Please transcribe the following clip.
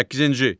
Səkkizinci.